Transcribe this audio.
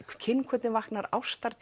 kynhvötin vaknar